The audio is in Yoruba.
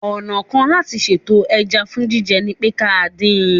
Ọ̀nà kan láti sètò ẹja fún jíjẹ ni pé ká dín in